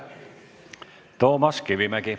Toomas Kivimägi.